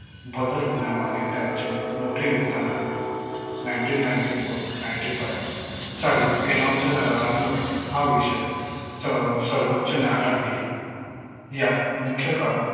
बदल होण्यामागे त्यांचे मोठे योगदान आहे nineteen ninety four ninety five साली एनोनच्या करारामुळे हा विषय अं सर्वोच्च न्यायालयात गेला यात मुख्य कारण